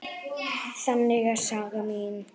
Þannig er saga mín.